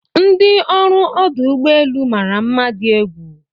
ndi ọrụ ọdụ ụgbọ elu mara mma di egwu